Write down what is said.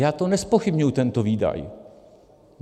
Já to nezpochybňuji, tento výdaj.